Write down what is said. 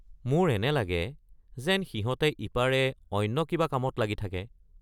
মোৰ এনে লাগে যেন সিহঁতে ইপাৰে অন্য কিবা কামত লাগি থাকে।